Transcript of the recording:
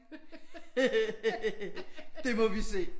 Det må vi se